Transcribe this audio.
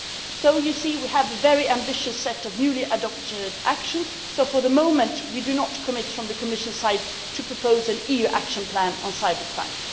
So, you see, we have a very ambitious set of newly adopted actions, though for the moment we are not committing, from the Commission's side, to propose an EU action plan on cybercrime.